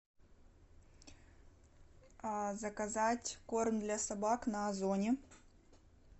заказать корм для собак на озоне